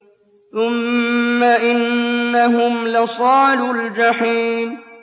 ثُمَّ إِنَّهُمْ لَصَالُو الْجَحِيمِ